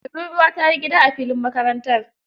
Tururwa ta yi gida a filin makarantar.